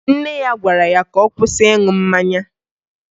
Nne ya gwara ya ka ọ kwụsị ịṅụ mmanya